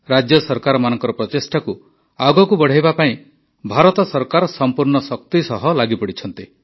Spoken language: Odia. ରାଜ୍ୟ ସରକାରମାନଙ୍କର ପ୍ରଚେଷ୍ଟାକୁ ଆଗକୁ ବଢ଼ାଇବା ପାଇଁ ଭାରତ ସରକାର ସମ୍ପୂର୍ଣ୍ଣ ଶକ୍ତି ସହ ଲାଗିପଡ଼ିଛନ୍ତି